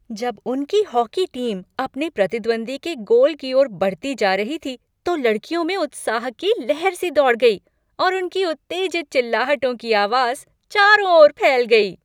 जब उनकी hockey team अपने प्रतिद्वंद्वी के गोल की ओर बढ़ती जा रही थी तो लड़कियों में उत्साह की लहर सी दौड़ गई और उनकी उत्तेजित चिल्लाहटों की आवाज़ चारों ओर फैल गई।